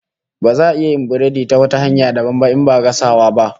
Baza a iya yin biredi ta wata hanya dabam ba in ba gasawa ba